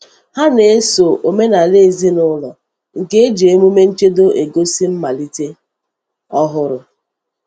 Hà na-eso omenala ezinụlọ nke ji emume nchedo egosi mmalite ọhụrụ.